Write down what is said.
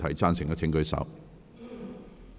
贊成的請舉手。